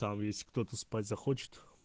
там ведь кто-то спать захочет